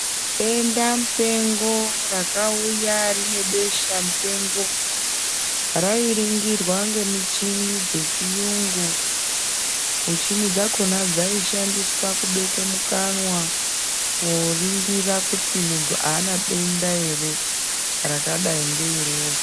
Dendamupengo rakauya rine beshamupengo rairingirwa ngemuchini dzechiyungu muchini dzakona dzaishandiswa kubekwe mukanwa koringira kuti muntu aana denda ere rakadai ngeiroro.